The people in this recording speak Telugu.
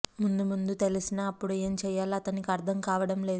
ముందు ముందు తెలిసినా అప్పుడు ఏం చెయ్యాలో అతనికి అర్థం కావటం లేదు